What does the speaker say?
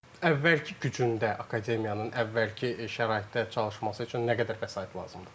Əvvəlki gücündə akademiyanın əvvəlki şəraitdə çalışması üçün nə qədər vəsait lazımdır?